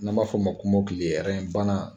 N'an b'a fɔ o ma kɔmakili banna